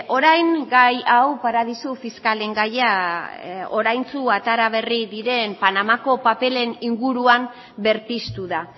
orain gai hau paradisu fiskalen gaia oraintsu atera berri diren panamako paperen inguruan berpiztu da